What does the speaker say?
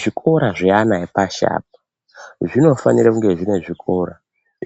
Zvikora zvana epashi apa zvinofanire kunge zvine zvikora